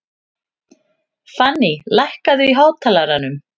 Fanný, lækkaðu í hátalaranum.